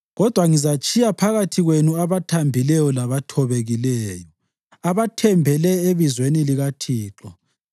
Kodwa ngizatshiya phakathi kwenu abathambileyo labathobekileyo, abathembele ebizweni likaThixo.